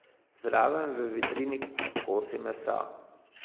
Zraven v vitrini kosi mesa.